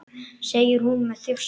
segir hún með þjósti.